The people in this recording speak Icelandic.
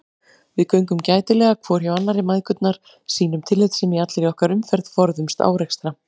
Við göngum gætilega hvor hjá annarri mæðgurnar, sýnum tillitssemi í allri okkar umferð, forðumst árekstra.